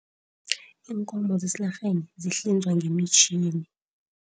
Iinkomo zesilarheni zihlinzwa ngemitjhini.